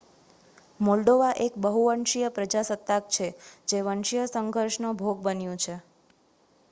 Moldova એક બહુવંશીય પ્રજાસત્તાક છે જે વંશીય સંઘર્ષનો ભોગ બન્યું છે